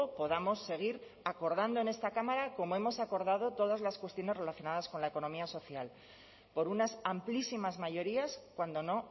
podamos seguir acordando en esta cámara como hemos acordado todas las cuestiones relacionadas con la economía social por unas amplísimas mayorías cuando no